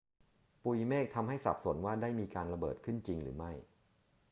ปุยเมฆทำให้สับสนว่าได้มีการระเบิดเกิดขึ้นจริงหรือไม่